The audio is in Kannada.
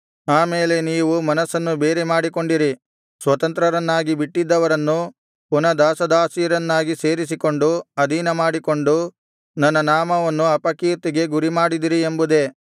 ಆ ಮೇಲೆ ನೀವು ಮನಸ್ಸನ್ನು ಬೇರೆ ಮಾಡಿಕೊಂಡಿರಿ ಸ್ವತಂತ್ರರನ್ನಾಗಿ ಬಿಟ್ಟಿದ್ದವರನ್ನು ಪುನಃ ದಾಸದಾಸಿಯರನ್ನಾಗಿ ಸೇರಿಸಿಕೊಂಡು ಅಧೀನಮಾಡಿಕೊಂಡು ನನ್ನ ನಾಮವನ್ನು ಅಪಕೀರ್ತಿಗೆ ಗುರಿಮಾಡಿದಿರಿ ಎಂಬುದೇ